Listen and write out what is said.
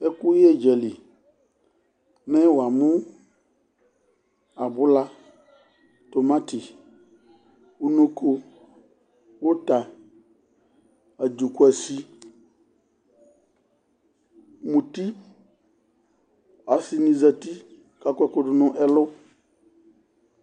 Ɛkʋyɛdzǝli, mɛ wuamu: abula, tomati, unoko, uta, adzukuasi, muti Asini zǝti kʋ akɔ ɛkʋdʋ nʋ ɛlʋ